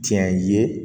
Tiɲɛ ye